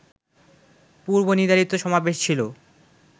পূর্বনির্ধারিত সমাবেশ ছিল